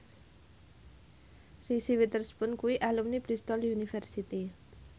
Reese Witherspoon kuwi alumni Bristol university